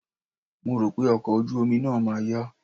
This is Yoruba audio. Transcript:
Mo rò pé ọkọ̀ ojú omi náà ma yá.